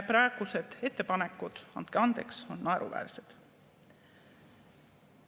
Praegused ettepanekud, andke andeks, on naeruväärsed.